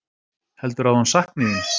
Heldurðu að hún sakni þín?